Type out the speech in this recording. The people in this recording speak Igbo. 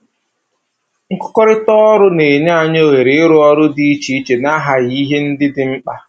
Nkụkọrịta ọrụ na-enye anyị ohere ịrụ ọrụ dị iche iche na-aghaghị ihe ndị dị mkpa